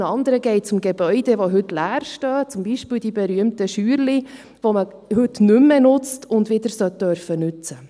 Den anderen geht es um Gebäude, die heute leer stehen, zum Beispiel die berühmten kleinen Scheunen, die man heute nicht mehr nutzt und wieder soll nutzen dürfen.